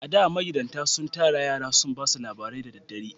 A da, magidatan sun tara yara sun ba su labarai da dare